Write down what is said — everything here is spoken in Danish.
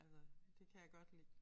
Altså det kan jeg godt lide